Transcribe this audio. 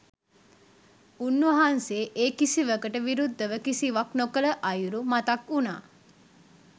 උන්වහන්සේ ඒ කිසිවකට විරුද්ධව කිසිවක් නොකළ අයුරු මතක් වුනා.